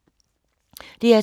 DR2